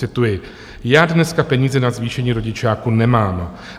Cituji: "Já dneska peníze na zvýšení rodičáku nemám.